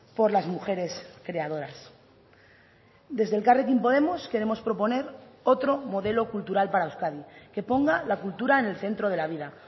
por las mujeres creadoras desde elkarrekin podemos queremos proponer otro modelo cultural para euskadi que ponga la cultura en el centro de la vida